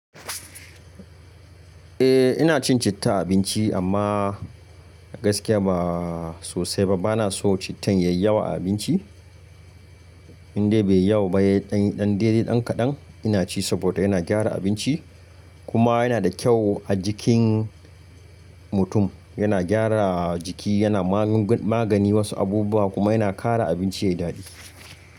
Eh ina cin citta a abinci amma gaskiya ba sosai ba. Bana so cittan yayi yawa a abinci, indai bai yawa ba, yayi ɗan dede ɗan kaɗan, ina ci saboda yana gyara abinci, kuma yana da kyau a jikin mutum. Yana gyara jiki, yana magani wasu abubuwa kuma yana kara abinci yayi daɗi.